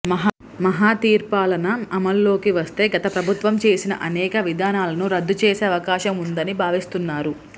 మహతీర్పాలన అమలులోకివస్తే గత ప్రభుత్వంచేసిన అనేక విధానాలను రద్దుచేసే అవకాశంవుందని భావిస్తున్నారు